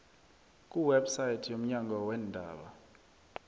kuwebsite yomnyango weendaba